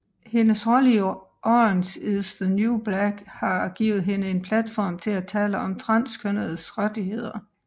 Hendes rolle i Orange Is the New Black har givet hende en platform til at tale om transkønnedes rettigheder